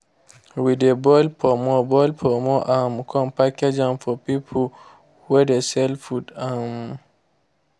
we dey boil ponmo boil ponmo um come package am for people wey de sell food. um